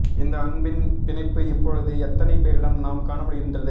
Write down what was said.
இந்த அன்பின் பிணைப்பு இப்பொழுது எத்தனை பேரிடம் நாம் காண முடிகின்றது